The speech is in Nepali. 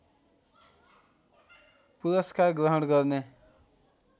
पुरस्कार ग्रहण गर्ने